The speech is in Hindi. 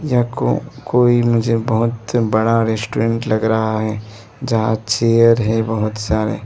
यह कोई मुझे बहुत बड़ा रेस्टोरेंट लग रहा है जहां चेयर है बहुत सारे।